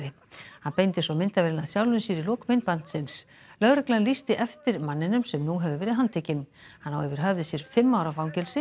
hann beindi svo myndavélinni að sjálfum sér í lok myndbandsins lögreglan lýsti eftir manninum sem nú hefur verið handtekinn hann á yfir höfði sér fimm ára fangelsi